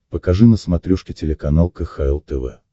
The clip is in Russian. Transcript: покажи на смотрешке телеканал кхл тв